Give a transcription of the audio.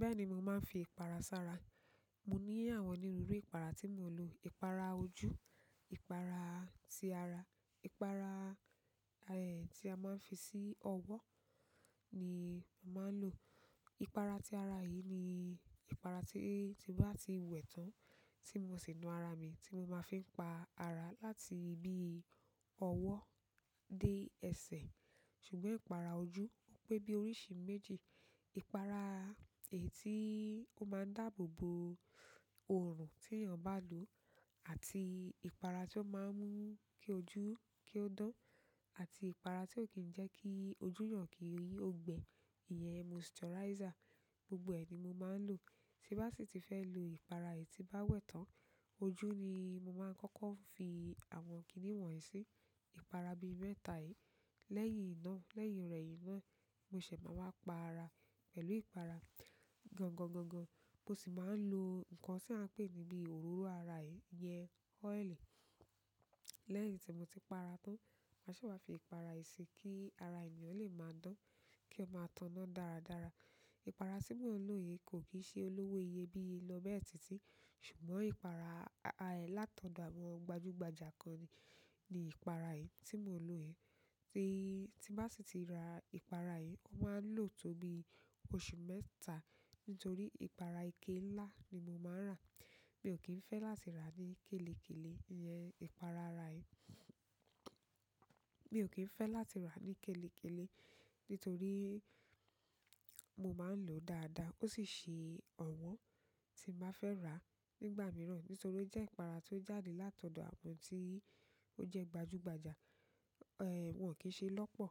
Bẹ́ẹ̀ ni mo máa ń fi ìpara sára. Mo ní àwọn onírúurú ìpara tí mo n lọ̀. Ìpara ojú, ìpara ti ara, ìpara, eh, tí a máa ń fi sí ọwọ́ ni mo màá ń lò. Ìpara ti ara yìí ni ìpara tí bá ti wẹ̀ tán tí mo sì nu ara mi, tí mo máa n fi pa ara láti ibi ọwọ́ dé ẹsẹ̀. Ṣùgbọ́n ìpara ojú ó pé bí oríṣi méjì. Ìpara, èyí, tí ó máa ń dáàbò bo òrùn tí èèyàn bá lò àti ìpara tí ó máa ń mú kí ojú kí ó dán àti ìpara tí ó kì í jẹ́ kí ojú eeyàn kí ó gbe. Iyẹn moisturizer. Gbogbo ẹ ni mo máa ń lo. Tí bá sì ti fẹ́ lo ìpara èyí tí bá wẹ̀ tán, ojú ni mo máa ń kọ́kọ́ fi àwọn kìnnìwọ̀n yìí sí. Ìpara bí mẹ́ta yìí. Lẹ́yìn ná, lẹ́yìn rẹ̀yìn ná, mo se máa wá pa ara pẹ̀lú ìpara. Gangan, gangan, mo sì máa ń lo nǹkan tí a ń pè ní bí òróró ara, iyẹn ooili. Lẹ́yìn tí mo ti pa ara tán, màá se wá fi ìpara yen sí kí ara èèyàn lè máa dán, kí ó máa tànná dáradára. Ipara ti mo n lo yìí ko ki n se olowo iyebiye lo bẹ́ẹ̀. Ṣùgbọ́n ìpara, a, látọ̀dọ̀ àwọn gbajúgbajà kan ni ìpara yìí tí mò ń lo yìí. Tí bá sì ti ra ìpara yìí, o máa ń lò tó bí oṣù mẹ́ta nítorí ìpara ike ńlá ni mo máa ń rà. Mi ò kí ń fẹ́ láti rà ní kélekèlé, iyẹn ìpara ara yìí. Mi ò kí ń fẹ́ láti rà ní kélekèlé nítorí mo máa ń lòó dáadáa. Ó sì ṣe ọ̀wọ́n tí màá fẹ́ rà nígbà mìíràn nítorí ó jẹ́ ìpara tó jáde látọ̀dọ̀ àwọn tí ó jẹ́ gbajúgbajà. Eh, wọ́n kì í se lọ́pọ̀.